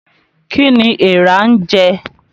Kí ni eèrà ń jẹ?